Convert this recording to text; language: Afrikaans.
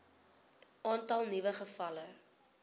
aantal nuwe gevalle